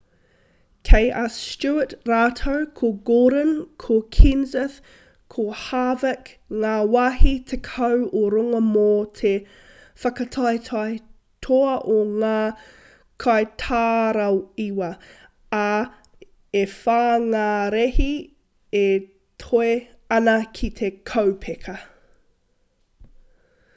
kei a stewart rātou ko gordon ko kenseth ko harvick ngā wāhi tekau o runga mō te whakataetae toa o ngā kaitaraiwa ā e whā ngā rēhi e toe ana ki te kaupeka